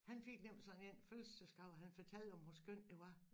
Han fik nemlig sådan én fødselsdagsgave han fortalte om hvor skønt det var